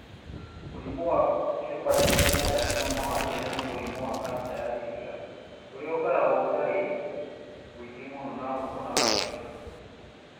Mũrimũ wa hepatocellular carcinoma, wa ciana nĩ mũrimũ wa kansa ya ciĩga ũrĩa ũkoragwo ũtarĩ mũingĩ mũno na ũkonaga ciana.